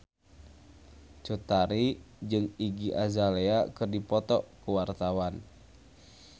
Cut Tari jeung Iggy Azalea keur dipoto ku wartawan